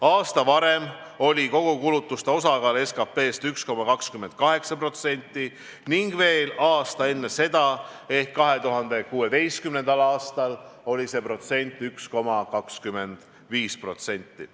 Aasta varem oli kogukulutuste osakaal SKT-st 1,28% ning veel aasta enne seda ehk 2016. aastal oli see 1,25%.